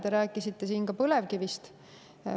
Te rääkisite siin ka põlevkivist.